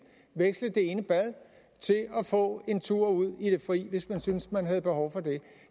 veksle det ene bad til at få en tur ud i det fri hvis man syntes man havde behov for det